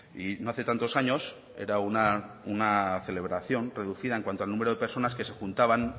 y no hace tantos años era una celebración reducida en cuanto al número de personas que se juntaban